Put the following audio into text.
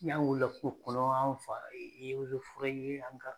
N'an wulila kungo kɔnɔ an fa ye ozeforɛ ye an ka